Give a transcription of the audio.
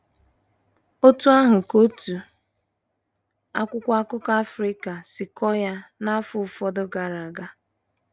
Otú ahụ ka otu akwụkwọ akụkọ Africa si kọọ ya n’afọ ụfọdụ gara aga.